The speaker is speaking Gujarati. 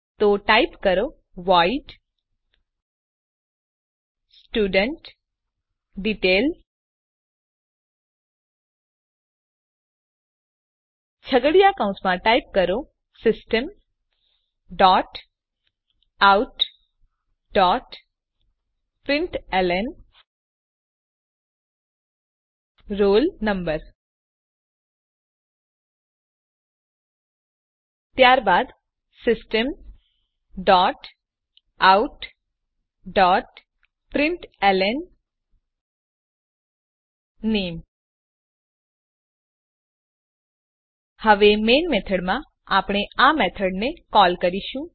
તો ટાઈપ કરો વોઇડ studentDetail છગડીયા કૌંસમાં ટાઈપ કરો system dot out dot println roll number ત્યારબાદ system dot out dot println નામે હવે મેઇન મેથડમાં આપણે આ મેથડને કોલ કરીશું